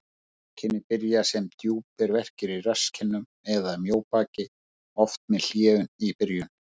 Einkenni byrja sem djúpir verkir í rasskinnum eða mjóbaki, oft með hléum í byrjun.